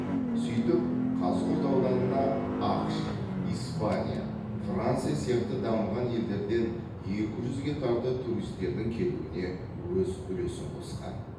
сөйтіп қазығұрт ауданына ақш испания франция сияқты дамыған елдерден екі жүзге тарта туристердің келуіне өз үлесін қосқан